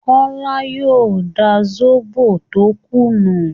kọ́lá yóò da sóbó tó kù nù